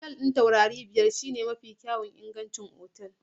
Otal ɗin taurari biyar shine mafi kyawun ingancin otal.